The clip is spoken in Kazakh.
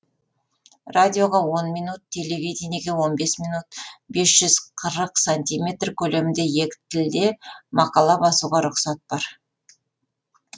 радиоға он минут телевидениеге он бес минут бес жүз қырық сантиметр көлемінде екі тілде мақала басуға рұқсат бар